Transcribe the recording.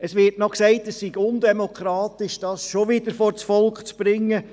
Es wurde noch gesagt, es sei undemokratisch, das schon wieder vors Volk zu bringen.